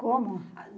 Como?